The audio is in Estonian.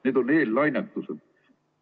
Need on eellainetused.